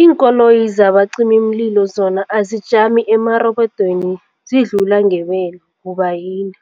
Iinkoloyi zabacimi mlilo zona azijami emarobodweni zidlula ngebelo, kubayini?